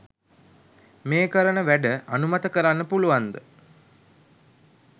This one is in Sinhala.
මේ කරන වැඩ අනුමත කරන්න පුළුවන්ද?